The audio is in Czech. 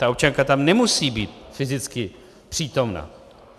Ta občanka tam nemusí být fyzicky přítomna.